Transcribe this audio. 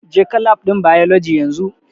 Jeka Lab ɗin Biology yanzu!